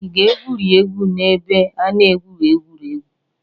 Ị ga-egwurị egwu n'ebe a na-egwu egwuregwu?